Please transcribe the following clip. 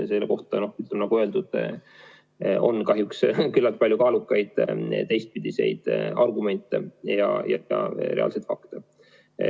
Selle kohta, nagu öeldud, on küllalt palju kaalukaid teistpidiseid argumente ja ka reaalseid fakte.